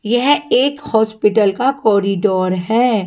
यह एक हॉस्पिटल का कॉरिडोर है।